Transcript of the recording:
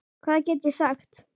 Hvað get ég sagt.